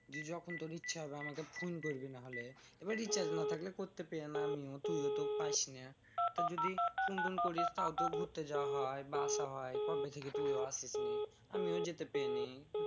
যে যখন তোর ইচ্ছা হবে আমাকে ফোন করবি নাহলে। এবার recharge না থাকলে করতে পেয়ে না আমিও। তুইও তো পাইস না। যদি ফোন টোন করিস তাও তো ঘুরতে যাওয়া হয় বা আসা হয়। কবে থেকে তুইও আসিস নি। আমিও যেতে পেয়ে নি।